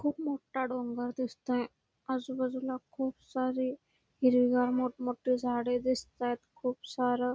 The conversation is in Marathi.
खूप मोठा डोंगर दिसतोय आजूबाजूला खूप सारे हिरवेगार मोठं मोठे झाडे दिसत आहेत खूप सार --